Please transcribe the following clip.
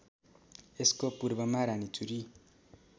यसको पूर्वमा रानीचुरी